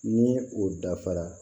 Ni o dafara